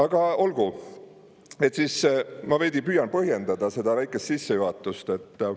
Aga olgu, ma veidi püüan põhjendada seda väikest sissejuhatust.